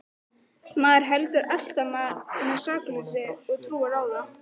Maður heldur alltaf með sakleysinu og trúir á það.